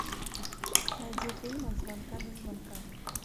найди фильм от звонка до звонка